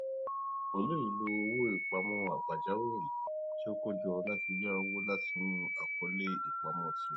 ó lóye lò owó ìpamọ pajawiri tí ó ti kó jọ láti ya owó láti inú àkọọlẹ ìpamọ tirẹ